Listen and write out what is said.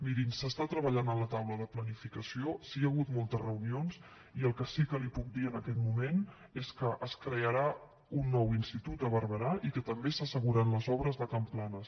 mirin s’està treballant a la taula de planificació hi han hagut moltes reunions i el que sí que li puc dir en aquest moment és que es crearà un nou institut a barberà i que també s’asseguren les obres de can planas